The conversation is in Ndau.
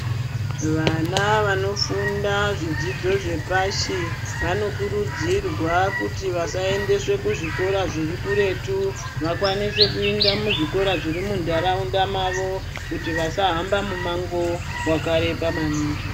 Vana vanofunda zvidzidzo zvepashi vanokurudzirwa kuti vasaendeswr kuzvikora zviri kuretu vakwanise kuenda kuzvikora zviri muntaraunda mavo kuti vasahamba mumango wakareba maningi.